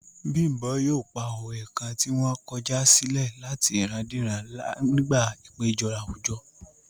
Bímbò yóò pa òwe kan ti wọ́n kọjá silẹ̀ láti ìrandíran nígbà ìpéjọ àwùjọ